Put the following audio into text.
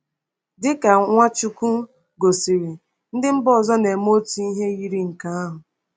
Dị ka Nwachukwu gosiri, ndị mba ọzọ na-eme otu ihe yiri nke ahụ.